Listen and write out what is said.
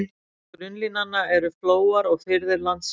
Innan grunnlínanna eru flóar og firðir landsins.